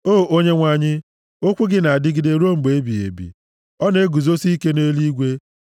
O Onyenwe anyị, okwu gị na-adịgide ruo mgbe ebighị ebi; + 119:89 \+xt Aịz 40:8; Mat 24:35; 1Pt 1:25\+xt* ọ na-eguzosi ike nʼeluigwe.